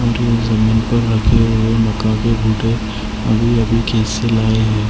Indian जमीन पर रखी हुई है मकान के फोटो अभी अभी कैसे लाए हैं।